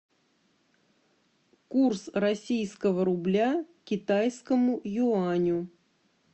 курс российского рубля к китайскому юаню